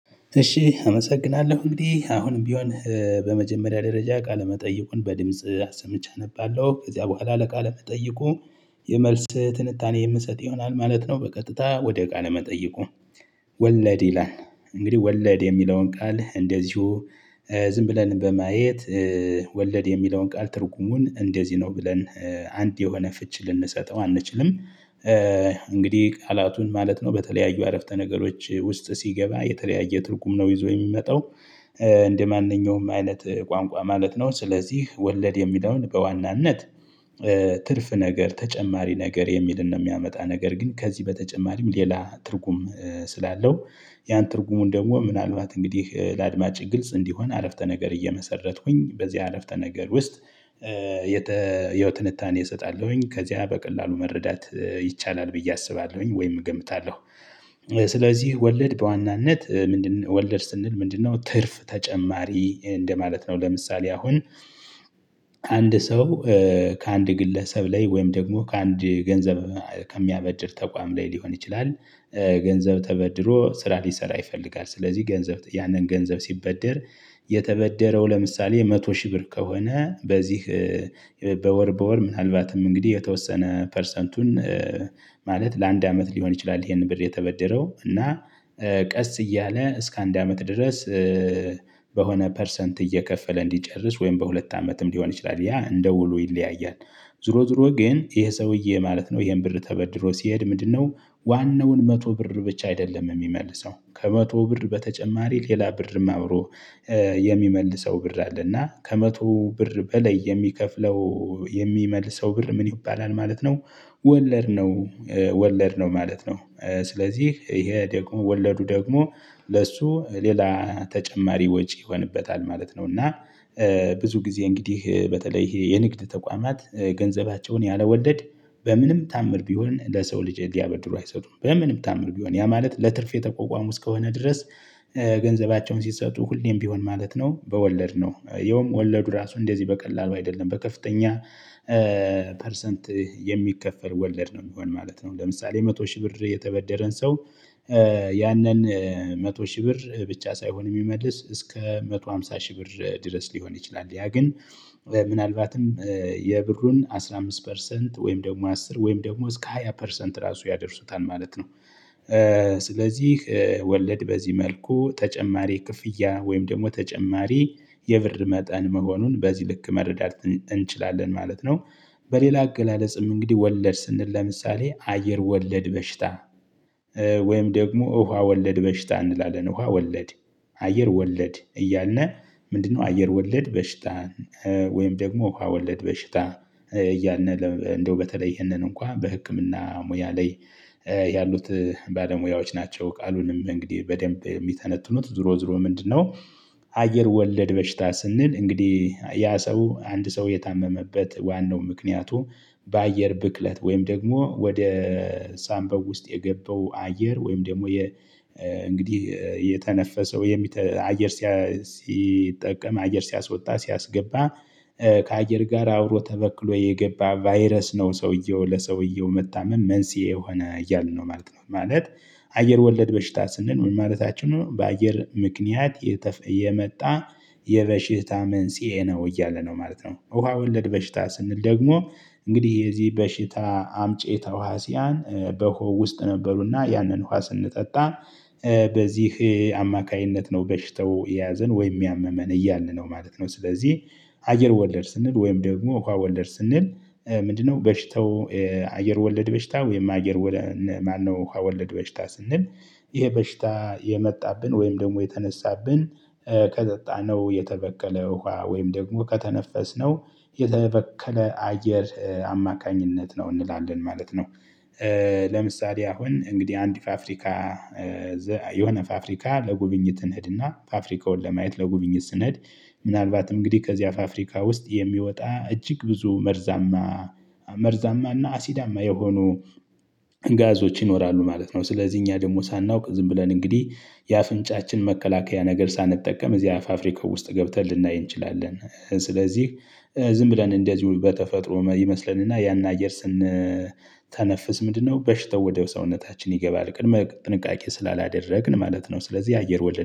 እሺ አመሰግናለሁ እንግዲህ አሁንም ቢሆን በመጀመሪያ ደረጃ ቃለ መጠይቁን በድምጽ አሰምቼ አነባለሁ ከዚያ በኋላ ለቃለ መጠይቁ የመልስ ትንታኔ የምሰጥ ይሆናል ማለት ነው። በቀጥታ ወደ ቃለ መጠይቁ። ወለድ ይላል እንግዲህ ወለድ የሚለውን ቃል እንደዚሁ ዝም ብለን በማየት ወለድ የሚለውን ቃል ትርጉሙን እንደዚህ ነው ብለን አንድ የሆነ ፍቺ ልንሰጠው አንችልም። እንግዲህ ቃላቱን ማለት ነው በተለያዩ አረፍተ ነገሮች ውስጥ ሲገባ የተለያየ ትርጉም ነው ይዞ የሚመጣው። እንደማንኛውም አይነት ቋንቋ ማለት ነው። ስለዚህ ወለድ የሚለውን በዋናነት ትርፍ ነገር ተጨማሪ ነገር የሚልን ነው። የሚያመጣ ነገር ግን ከዚህ በተጨማሪም ሌላ ትርጉም ስላለው ያን ትርጉሙን ደግሞ ምናልባት እንግዲህ ለአድማጭ ግልጽ እንዲሆን አረፍተ ነገር እየመሰረትኩኝ በዚህ አረፍተ ነገር ውስጥ የተ ያው ትንታኔ እሰጣለሁኝ ከዚያ በቀላሉ መረዳት ይቻላል ብዬ አስባለሁኝ። ወይም እገምታለሁ። ስለዚህ ወለድ በዋናነት ምንድነው? ወለድ ስንል ምንድነው? ትርፍ ተጨማሪ እንደማለት ነው። ለምሳሌ አሁን አንድ ሰው ከአንድ ግለሰብ ላይ ወይም ደግሞ ከአንድ ገንዘብ ከሚያበድር ተቋም ላይ ሊሆን ይችላል። ገንዘብ ተበድሮ ስራ ሊሰራ ይፈልጋል ስለዚህ ገንዘብ ያንን ገንዘብ ሲበደር። የተበደረው ለምሳሌ መቶ ሺህ ብር ከሆነ በዚህ በወር በወር ምናልባትም እንግዲህ የተወሰነ ፐርሰንቱን። ማለት ለአንድ አመት ሊሆን ይችላል ይሄን ብር የተበደረው እና ቀስ እያለ እስከ አንድ አመት ድረስ በሆነ ፐርሰንት እየከፈለ እንዲጨርስ ወይም በሁለት አመትም ሊሆን ይችላል ያ እንደ ውሉ ይለያያል። ዞሮ ዞሮ ግን ይሄ ሰውዬ ማለት ነው ይሄን ብር ተበድሮ ሲሄድ ምንድነው? ዋናውን መቶ ብር ብቻ አይደለም የሚመልሰው ከመቶ ብር በተጨማሪ ሌላ ብርም አብሮ የሚመልሰው ብር አለና ከመቶ ብር በላይ የሚከፍለው የሚመልሰው ብር ምን ይባላል ማለት ነው? ወለድ ነው። ወለድ ነው ማለት ነው። ስለዚህ ይሄ ደግሞ ወለዱ ደግሞ ለእሱ ሌላ ተጨማሪ ወጪ ይሆንበታል ማለት ነው። እና ብዙ ጊዜ እንግዲህ በተለይ ይሄ የንግድ ተቋማት ገንዘባቸውን ያለወለድ በምንም ታዓምር ቢሆን ለሰው ልጅ እንዲያበድሩ አይሰጡም። በምንም ታዓምር ቢሆን ያ ማለት ለትርፍ የተቋቋሙ እስከሆነ ድረስ። ገንዘባቸውን ሲሰጡ ሁሌም ቢሆን ማለት ነው በወለድ ነው የውም ወለዱ ራሱ እንደዚህ በቀላሉ አይደለም በከፍተኛ ፐርሰንት የሚከፈል ወለድ ነው የሚሆን ማለት ነው። ለምሳሌ መቶ ሺህ ብር የተበደረን ሰው ያንን መቶ ሺህ ብር ብቻ ሳይሆን የሚመልስ እስከ መቶ ሃምሳ ሺህ ብር ድረስ ሊሆን ይችላል። ያ ግን ምናልባትም የብሩን አስራ አምስት ፐርሰንት ወይም ደግሞ አስር ወይም ደግሞ እስከ ሃያ ፐርሰንት ራሱ ያደርሱታል ማለት ነው። ስለዚህ ወለድ በዚህ መልኩ ተጨማሪ ክፍያ ወይም ደግሞ ተጨማሪ የብር መጠን መሆኑን በዚህ ልክ መረዳት እንችላለን ማለት ነው። በሌላ አገላለጽም እንግዲህ ወለድ ስንል ለምሳሌ አየር ወለድ በሽታ። ወይም ደግሞ ውሃ ወለድ በሽታ እንላለን። ውሃ ወለድ አየር ወለድ እያልነህ ምንድነው? አየር ወለድ በሽታን ወይም ደግሞ ውሃ ወለድ በሽታን እያልን እንደው በተለይ ይህንን እንኳን በህክምና ሙያ ላይ ያሉት ባለሙያዎች ናቸው። ቃሉንም እንግዲህ በደንብ የሚተነትኑት ዞሮ ዞሮ ምንድነው? አየር ወለድ በሽታ ስንል እንግዲህ ያ ሰው አንድ ሰው የታመመበት ዋናው ምክንያቱ በአየር ብክለት ወይም ደግሞ ወደ ሳንበው ውስጥ የገባው አየር ወይም ደግሞ እንግዲህ የተነፈሰው የሚተ አየር ሲጠቀም አየር ሲያስወጣ ሲያስገባ ከአየር ጋር አብሮ ተበክሎ የገባ ቫይረስ ነው ሰውዬው ለሰውየው መታመም መንስኤ የሆነ እያልን ነው ማለት ነው። ማለት አየር ወለድ በሽታ ስንኖር ምን ማለታችን ነው? በአየር ምክንያት የመጣ የበሽታ መንስኤ ነው እያለ ነው ማለት ነው። ውሃ ወለድ በሽታ ስንል ደግሞ እንግዲህ የዚህ በሽታ አምጬ ተዋሲያን በውሃ ውስጥ ነበሩና ያንን ውሃ ስንጠጣ በዚህ አማካኝነት ነው በሽተው የያዘን ወይም ያመመን እያልን ነው ማለት ነው። ስለዚህ አየር ወለድ ስንል ወይም ደግሞ ውሃ ወለድ ስንል ምንድነው? በሽተው አየር ወለድ በሽታ ወይም አየር ማነው? ውሃ ወለድ በሽታ ስንል ይሄ በሽታ የመጣብን ወይም ደግሞ የተነሳብን ከጠጣነው የተበከለ ውሃ ወይም ደግሞ ከተነፈስነው የተበከለ አየር አማካኝነት ነው እንላለን ማለት ነው። ለምሳሌ አሁን እንግዲህ አንድ ፋብሪካ የሆነ ፋብሪካ ለጉብኝት እንሂድና ፋብሪካውን ለማየት ለጉብኝት ስንሄድ ምናልባት እንግዲህ ከዚያ ፋብርካ ውስጥ የሚወጣ እጅግ ብዙ መርዛማ መርዛማና አሲዳማ የሆኑ ጋዞች ይኖራሉ ማለት ነው። ስለዚህ እኛ ደግሞ ሳናውቅ ዝም ብለን እንግዲህ የአፍንጫችን መከላከያ ነገር ሳንጠቀም እዚህ አፍ ፍብሪካ ውስጥ ገብተን ልናይ እንችላለን። ስለዚህ ዝም ብለን እንደዚሁ በተፈጥሮ ይመስለንና ያን አየር ስንተነፍስ ምንድነው በሽተው ወደ ሰውነታችን ይገባል ቅድመ ጥንቃቄ ስላላደረግን ማለት ነው። ስለዚህ አየር ወለድ